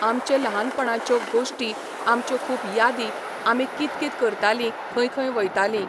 आमचे लहानपणाच्यो गोश्टी आमच्यो खूब यादी आमी कित कित करताली खंय खंय वयताली